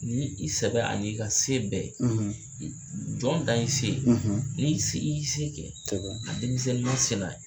Ni i sɛbɛ ani i ka se bɛɛ jɔn dan y'i se ye n'i i se kɛ denmisɛn masina